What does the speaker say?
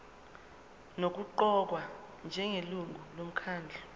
nokuqokwa njengelungu lomkhandlu